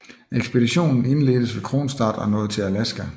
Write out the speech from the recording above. Ekspeditionen indledtes ved Kronstadt og nåede til Alaska